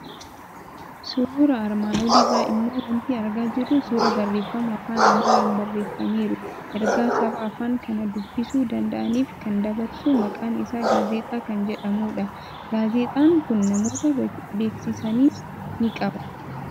Suuraa armaan olii irraa immoo waanti argaa jirru suuraa barreeffama afaan Amaaraan barreeffameeru, ergaa saba afaan kana dubbisuu danda'aniif kan dabarsu, maqaan isaa Gaazexaa kan jedhamudha. Gaazexaan kun namoota beeksisanis ni qaba.